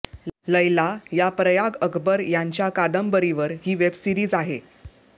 लैला या प्रयाग अकबर यांच्या कांदबरीवर ही वेबसिरीज आहे